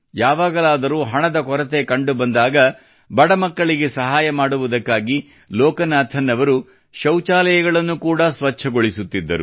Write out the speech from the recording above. ಯಾವಾಗಲಾದರೂ ಹಣದ ಕೊರತೆ ಕಂಡುಬಂದಾಗ ಬಡ ಮಕ್ಕಳಿಗೆ ಸಹಾಯ ಮಾಡುವುದಕ್ಕಾಗಿ ಲೋಕನಾಥನ್ ಅವರು ಶೌಚಾಲಯಗಳನ್ನು ಕೂಡಾ ಸ್ವಚ್ಛಗೊಳಿಸುತ್ತಿದ್ದರು